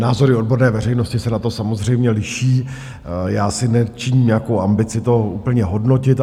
Názory odborné veřejnosti se na to samozřejmě liší, já si nečiním nějakou ambici to úplně hodnotit.